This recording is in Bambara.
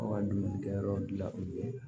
Aw ka dumunikɛyɔrɔ la yen